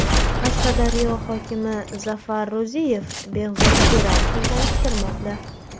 Qashqadaryo hokimi Zafar Ro‘ziyev Behzod Jo‘rayevni tanishtirmoqda.